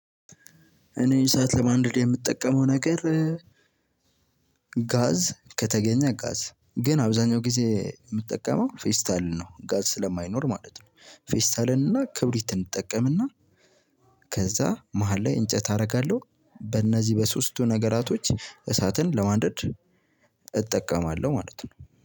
እኔ እሳአት ለማንደድ የምጠቀመው ነገር። ጋዝ ከተገኘ ጋዝ ግን አብዛኛው ጊዜ የምጠቀመው ፌስታል ነው ጋዝ ስለማይኖር ማለት ነው። ፌስታልን እና ክብሪትን እንጠቀምና። ከዛ መሃል ላይ እንጨት አደርጋለሁ። በእነዚህ በሶስቱ ነገራቶች እሳትን ለማደድ እጠቀማለሁ ማለት ነው